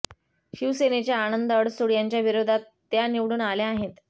शिवसेनेच्या आनंद अडसूळ यांच्याविरोधात त्या निवडून आल्या आहेत